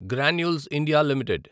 granules India limited